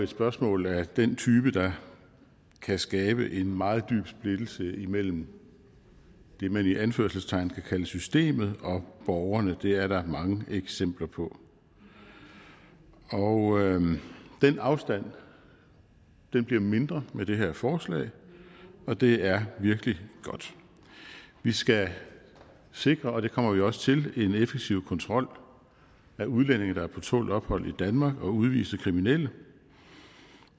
spørgsmål af den type der kan skabe en meget dyb splittelse imellem det man i anførselstegn kan kalde systemet og borgerne det er der mange eksempler på og den afstand bliver mindre med det her forslag og det er virkelig godt vi skal sikre og det kommer vi også til en effektiv kontrol af udlændinge der er på tålt ophold i danmark og udviste kriminelle